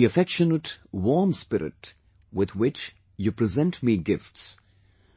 The affectionate, warm spirit, with which you present me gifts